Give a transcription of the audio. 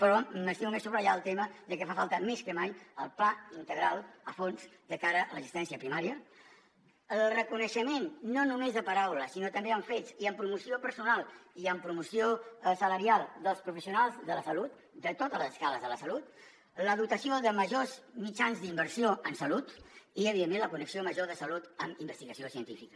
però m’estimo més subratllar el tema de que fa falta més que mai el pla integral a fons de cara a l’assistència primària el reconeixement no només de paraula sinó també amb fets i amb promoció personal i amb promoció salarial dels professionals de la salut de totes les escales de la salut la dotació de majors mitjans d’inversió en salut i evidentment la connexió major de salut amb investigació científica